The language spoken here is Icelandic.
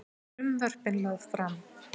Frumvörpin lögð fram